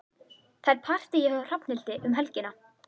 Það er partí hjá Hrafnhildi um helgina.